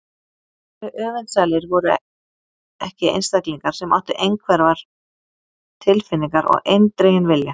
Hve öfundsælir voru ekki einstaklingar sem áttu einhverfar tilfinningar og eindreginn vilja!